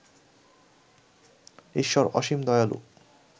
ঈশ্বর অসীম দয়ালু